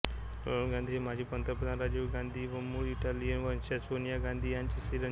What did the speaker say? राहुल गांधी हे माजी पंतप्रधान राजीव गांधी व मूळ इटालियन वंशज सोनिया गांधी यांचे चिरंजीव